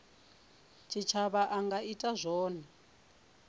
tshitshavha a nga ita zwone